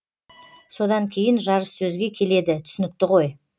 содан кейін жарыс сөзге келеді түсінікті ғой